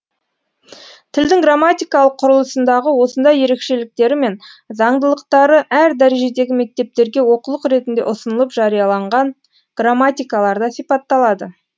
тілдің грамматикалық құрылысындағы осындай ерекшеліктері мен заңдылықтары әр дәрежедегі мектептерге оқулық ретінде ұсынылып жарияланған грамматикаларда сипатталады